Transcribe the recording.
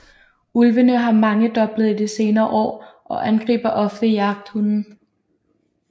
Ulvene har mangedoblet i de senere år og angriber ofte jagthunde